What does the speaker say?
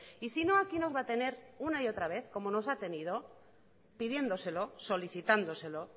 y sino aquí nos va a tener una y otra vez como nos ha tenido pidiéndoselo solicitándoselo